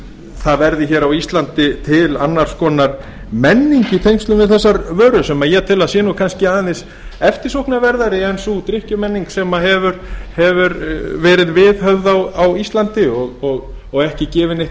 það verði á íslandi til annars konar menning í tengslum við þessar vörur sem ég tel að sé kannski aðeins eftirsóknarverðari eins drykkjumenning sem hefur verið viðhöfð á íslandi og ekki gefið